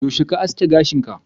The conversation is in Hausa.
yaushe ka aske gashin ka?